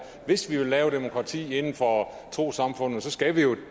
hvis vi vil lave demokrati inden for trossamfundene skal vi